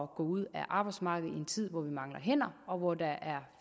gå ud af arbejdsmarkedet i en tid hvor vi mangler hænder og hvor der er